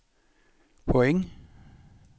point